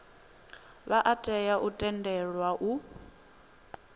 vha tea u tendelwa u